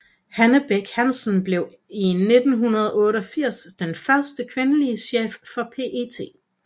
Hanne Bech Hansen blev i 1988 den første kvindelig chef for PET